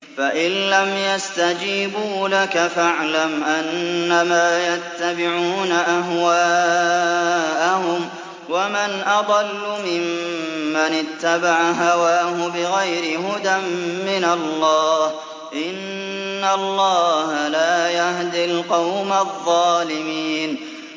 فَإِن لَّمْ يَسْتَجِيبُوا لَكَ فَاعْلَمْ أَنَّمَا يَتَّبِعُونَ أَهْوَاءَهُمْ ۚ وَمَنْ أَضَلُّ مِمَّنِ اتَّبَعَ هَوَاهُ بِغَيْرِ هُدًى مِّنَ اللَّهِ ۚ إِنَّ اللَّهَ لَا يَهْدِي الْقَوْمَ الظَّالِمِينَ